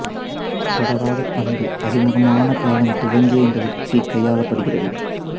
தொடராத பண்பு அறிமுகமான காலம் துவங்கியே இந்த உத்தி கையாளப்படுகிறது